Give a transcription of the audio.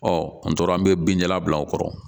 an tora an bɛ bin jalan bila u kɔrɔ